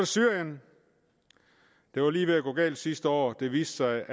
syrien det var lige ved at gå galt sidste år det viste